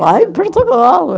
Lá em Portugal.